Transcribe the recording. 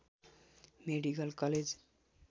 medical college